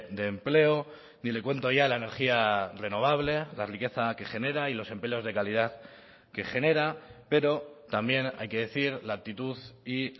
de empleo ni le cuento ya la energía renovable la riqueza que genera y los empleos de calidad que genera pero también hay que decir la actitud y